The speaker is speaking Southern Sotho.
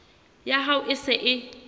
ya hao e se e